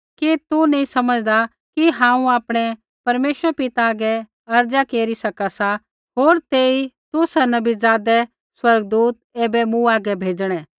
कि तू नी समझदा कि हांऊँ आपणै परमेश्वर पिता हागै अर्ज़ा केरी सका सा होर तेई तुसा नी बी ज़ादै स्वर्गदूत ऐबै मूँ हागै भेज़णै